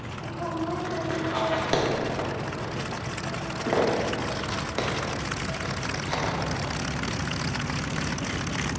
En hvaða málefni eru í forgrunni í kosningabaráttu Flokks fólksins?